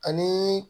Ani